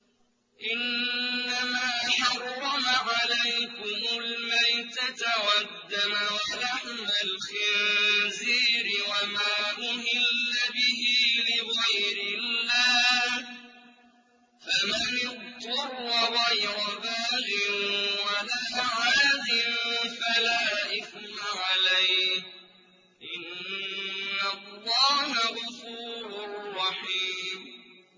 إِنَّمَا حَرَّمَ عَلَيْكُمُ الْمَيْتَةَ وَالدَّمَ وَلَحْمَ الْخِنزِيرِ وَمَا أُهِلَّ بِهِ لِغَيْرِ اللَّهِ ۖ فَمَنِ اضْطُرَّ غَيْرَ بَاغٍ وَلَا عَادٍ فَلَا إِثْمَ عَلَيْهِ ۚ إِنَّ اللَّهَ غَفُورٌ رَّحِيمٌ